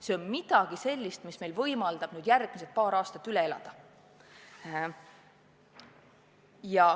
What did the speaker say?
See on midagi sellist, mis meil võimaldab järgmised paar aastat üle elada.